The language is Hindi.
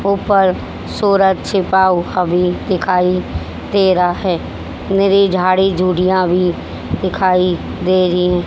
ऊपर सूरज छिपा हुआ भी दिखाई दे रहा है मेरी झाड़ी झुडियां भी दिखाई दे रही है।